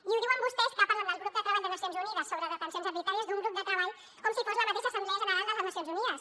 i ho diuen vostès que parlen del grup de treball de nacions unides sobre detencions arbitràries d’un grup de treball com si fos la mateixa assemblea general de les nacions unides